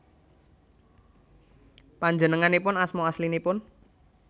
Panjenenganipun asma aslinipun